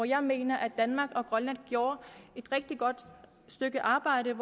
jeg mener at danmark og grønland gjorde et rigtig godt stykke arbejde